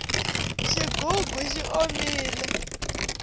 xigugu xi omile